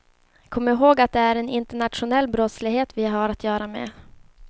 Kom ihåg att det är en internationell brottslighet vi har att göra med.